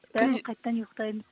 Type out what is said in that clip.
бәрібір қайтадан ұйқытаймыз